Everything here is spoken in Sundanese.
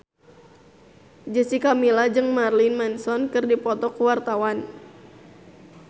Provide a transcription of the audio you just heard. Jessica Milla jeung Marilyn Manson keur dipoto ku wartawan